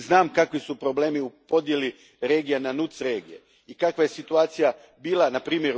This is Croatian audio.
Znam kakvi su problemi u podjeli regija na NUTS regije i kakva je situacija bila npr.